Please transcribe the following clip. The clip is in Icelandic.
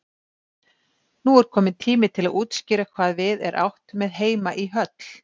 Nú er kominn tími til að útskýra hvað við er átt með heima í höll.